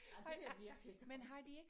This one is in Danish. Ej det er virkelig gammelt